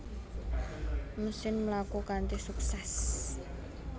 Mesin mlaku kanthi suksès